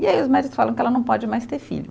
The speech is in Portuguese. E aí os médicos falam que ela não pode mais ter filho.